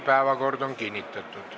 Päevakord on kinnitatud.